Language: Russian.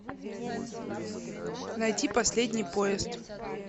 найти последний поезд